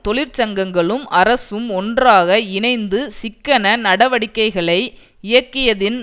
தொழிற்சங்கங்களும் அரசும் ஒன்றாக இணைந்து சிக்கன நடவடிக்கைகளை இயக்கியதின்